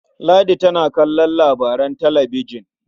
Ladi tana son kallon labaran talabijin.